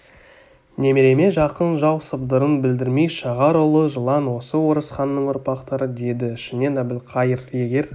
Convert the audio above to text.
немереме жақын жау сыбдырын білдірмей шағар улы жылан осы орыс ханның ұрпақтары деді ішінен әбілқайыр егер